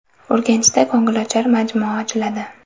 Urganchda ko‘ngilochar majmua ochiladi.